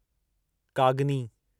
कागनी